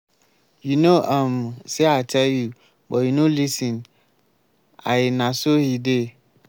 you no um say i tell you but you no lis ten l na so he dey.